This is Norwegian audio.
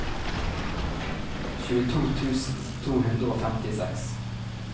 tjueto tusen to hundre og femtiseks